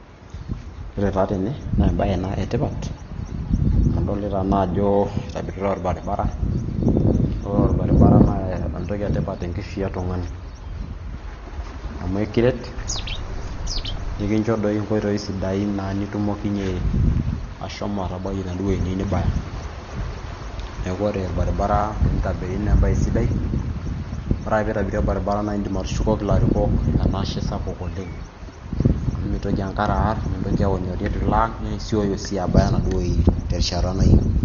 Ore taa tene naa embae ena etipat amu adolita naa ajo eitobiritae orbaribara naa ore orbaribara naa entoki etipat oleng tenkishui etung'ani amu ekiret nikincho doi inkoitoi sidain naa nitumokonyie ashomo atabai ena duo wueji niyieu nibaya neeku ore orbaribara teneitabiri naa embaye sidai ore ake peeitabiri orbaribara naa indim atushukoki ilarikok enashe sapuk oleng amu mitoki enkare aar mintoki aonyori eitu ilo aang naaisioyo sii abaya enaduo wueji terishat nayieuni.